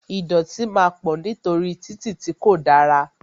Ìdọ̀tí máa pọ̀ nítorí títì tí kò dára